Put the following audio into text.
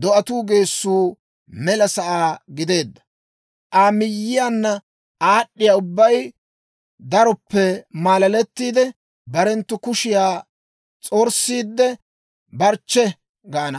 do'atuu geessuu mela sa'aa gideedda. Aa miyiyaanna aad'd'iyaa ubbay daroppe maalalettiide, barenttu kushiyaa s'orssiidde, «barchche!» gaana.